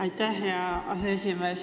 Aitäh, hea aseesimees!